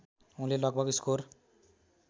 उनले लगभग स्कोर